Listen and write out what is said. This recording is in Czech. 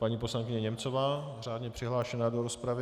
Paní poslankyně Němcová, řádně přihlášená do rozpravy.